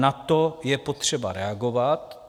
Na to je potřeba reagovat.